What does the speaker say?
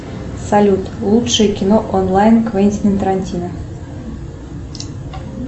салют лучшее кино онлайн квентина тарантино